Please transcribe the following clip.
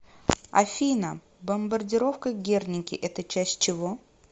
афина бомбардировка герники это часть чего